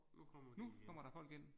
Nu kommer der folk ind